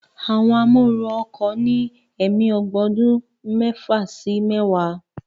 Àwọn amóooru ọkọ̀ ní ẹ̀mí ogbó ọdún mẹ́fà sí mẹ́wàá